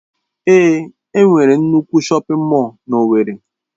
Èé, enwere nnukwu shọpin mọll n'Owerri.